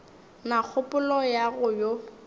na kgopolo ya go yo